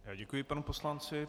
Děkuji panu poslanci.